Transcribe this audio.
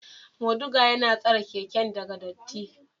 Moduga yana tsare keken daga dirty.